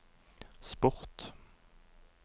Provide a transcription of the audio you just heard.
sport